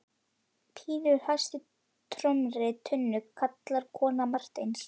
Bylur hæst í tómri tunnu, kallaði kona Marteins.